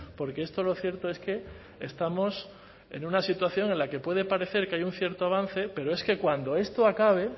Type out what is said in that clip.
porque esto lo cierto es que estamos en una situación en la que puede parecer que hay un cierto avance pero es que cuando esto acabe